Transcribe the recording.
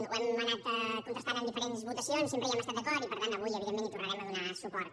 ho hem anat contrastant amb diferents votacions sempre hi hem estat d’acord i per tant avui evidentment hi tornarem a donar suport